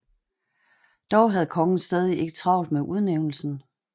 Dog havde kongen stadig ikke travlt med udnævnelsen